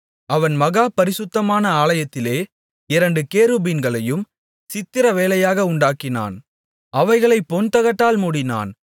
அவன் மகா பரிசுத்தமான ஆலயத்திலே இரண்டு கேருபீன்களையும் சித்திரவேலையாக உண்டாக்கினான் அவைகளைப் பொன்தகட்டால் மூடினான்